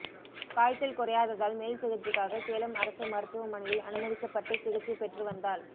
காய்ச்சல் குறையாததால் மேல் சிகிச்சைக்காக சேலம் அரசு மருத்துவமனையில் அனுமதிக்கப்பட்டு சிகிச்சைப் பெற்று வந்தாள்